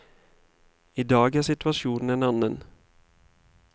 I dag er situasjonen en annen.